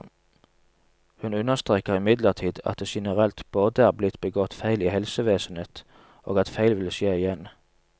Hun understreker imidlertid at det generelt både er blitt begått feil i helsevesenet, og at feil vil skje igjen.